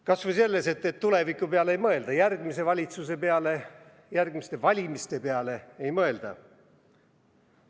Kas või selles punktis, et tuleviku peale ei mõelda, järgmise valitsuse peale, järgmiste valimiste peale ei mõelda.